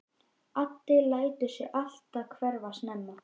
Addi lætur sig alltaf hverfa snemma.